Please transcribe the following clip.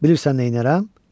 Bilirsən neynərəm?